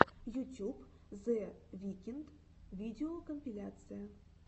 ютюб зе викнд видеокомпиляция